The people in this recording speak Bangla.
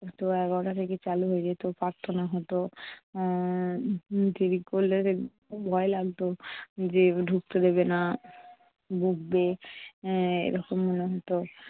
সোয়া এগারোটা থেকে চালু হয়ে যেত প্রার্থনা হতো। উম দেরি করলে ভয় লাগতো যে ঢুকতে দেবে না, বকবে। এরকম মনে হতো